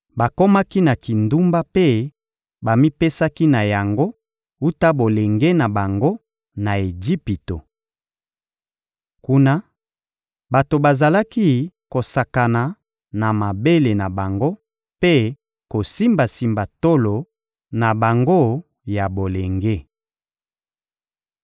Bakomaki na kindumba mpe bamipesaki na yango wuta bolenge na bango, na Ejipito. Kuna, bato bazalaki kosakana na mabele na bango mpe kosimbasimba tolo na bango ya bolenge.